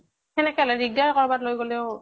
সেনেকে হʼলে দিগ্দাৰ, কৰবাত লৈ গʼলেও ।